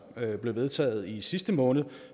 blev vedtaget i sidste måned og